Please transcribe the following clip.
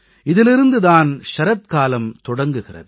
இதிலிருந்து தான் சரத்காலம் தொடங்குகிறது